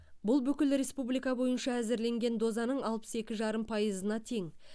бұл бүкіл республика бойынша әзірленген дозаның алпыс екі жарым пайызына тең